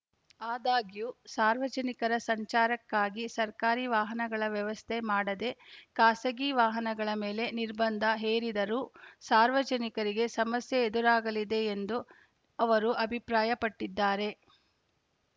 ಆದಾಗ್ಯೂ ಸಾರ್ವಜನಿಕರ ಸಂಚಾರಕ್ಕಾಗಿ ಸರ್ಕಾರಿ ವಾಹನಗಳ ವ್ಯವಸ್ಥೆ ಮಾಡದೇ ಖಾಸಗಿ ವಾಹನಗಳ ಮೇಲೆ ನಿರ್ಬಂಧ ಹೇರಿದರೂ ಸಾರ್ವಜನಿಕರಿಗೆ ಸಮಸ್ಯೆ ಎದುರಾಗಲಿದೆ ಎಂದು ಅವರು ಅಭಿಪ್ರಾಯಪಟ್ಟಿದ್ದಾರೆ